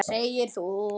Segir þú.